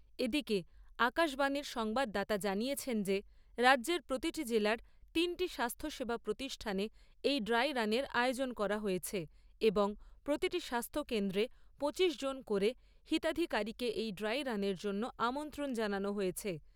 এদিকে আকাশবাণীর সংবাদদাতা জানিয়েছেন যে রাজ্যের প্রতিটি জেলার তিনটি স্বাস্থ্যসেবা প্রতিষ্ঠানে এই ড্রাই রানের আয়োজন করা হয়েছে এবং প্রতিটি স্বাস্থ্য কেন্দ্রে পঁচিশজন করে হিতাধিকারীকে এই ড্রাই রানের জন্য আমন্ত্রণ জানানো হয়েছে।